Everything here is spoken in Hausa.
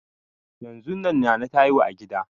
Yanzun nan nana ta haihu a gida